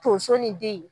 Tonso ni den